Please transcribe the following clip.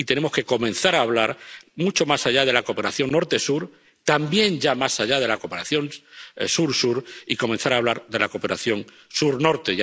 Y tenemos que comenzar a hablar mucho más allá de la cooperación Norte Sur ⸺también más allá de la cooperación Sur Sur⸺ y comenzar a hablar de la cooperación Sur Norte.